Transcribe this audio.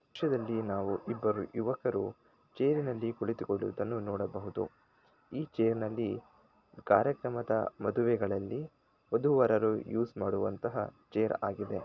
ಈ ದೃಶ್ಯದಲ್ಲಿ ನಾವು ಇಬ್ಬರು ಯುವಕರು ಚೇರ್ ನಲ್ಲಿ ಕುಳಿತು ಕೊಂಡಿರುವುದನ್ನು ನೋಡಬಹುದು ಈ ಚೇರ್ ನಲ್ಲಿ ಕಾರ್ಯಕ್ರಮದ ಮದುವೆಗಳಲ್ಲಿ ವಧು ವರರು ಯೂಸ್ ಮಾಡುವಂತ ಚೇರ್ ಗಳು ಆಗಿವೆ